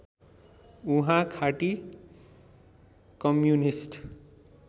उहाँ खाँटी कम्युनिष्ट